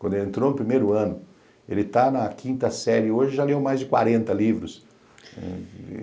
Quando ele entrou no primeiro ano, ele está na quinta série e hoje já leu mais de quarenta livros.